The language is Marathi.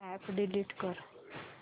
अॅप डिलीट कर